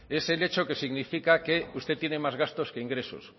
es el hecho que significa que usted tiene más gastos que ingresos